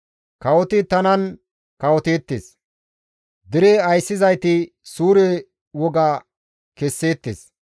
Kawoti tanan kawoteettes; dere ayssizayti suure woga kesseettes.